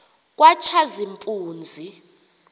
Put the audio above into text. katshazimpunzi